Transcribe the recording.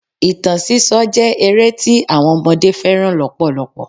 Ìtàn sísọ jẹ́ ere tí àwọn ọmọdé fẹ́ràn lọpọlọpọ.